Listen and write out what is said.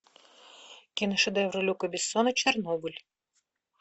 киношедевр люка бессона чернобыль